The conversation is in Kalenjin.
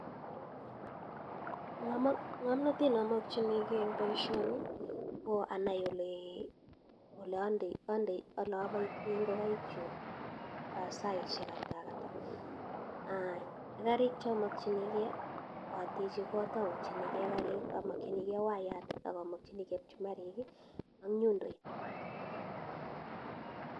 Ngamnatet nee amachinikee eng baishonik koo anaii olapitaiii ingokaik chuk saishek ata ak ata ak karik chamakchin ngee koo ateche kot amakchinikee wayat akamachin kee pchumarik ak nyundoit